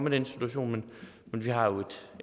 i den situation men vi har jo